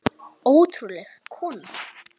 Ótrúleg kona.